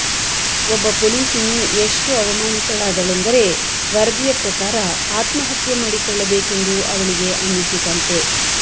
ಒಬ್ಬ ಪೊಲೀಸಿನಿ ಎಷ್ಟು ಅವಮಾನಿತಳಾದಳೆಂದರೆ ವರದಿಯ ಪ್ರಕಾರ ಆತ್ಮಹತ್ಯೆ ಮಾಡಿಕೊಳ್ಳಬೇಕೆಂದು ಅವಳಿಗೆ ಅನ್ನಿಸಿತಂತೆ